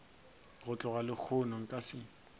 go tloga lehono nka se